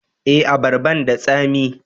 Eh, abarban da tsami